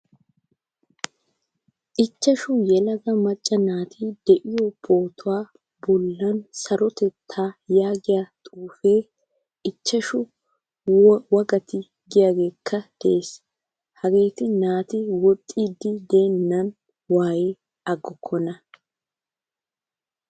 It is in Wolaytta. Ichchashshu yelaga macca naati de'iyo pootuwaa bollan sarotta yaagiyaa xuufe, ichchashshu waggati giyaagekka de'ees. Hageetti naati woxxidi de'eenan waayi aggokkona.